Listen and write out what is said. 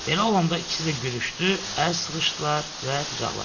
Elə olanda ikisi də gülüşdü, əl sıxışdılar və qucaqlaşdılar.